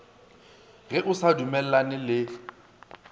ge o sa dumellane le